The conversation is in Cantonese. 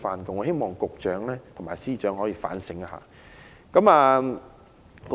我希望局長和司長可以反映這項意見。